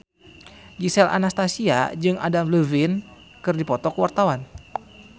Gisel Anastasia jeung Adam Levine keur dipoto ku wartawan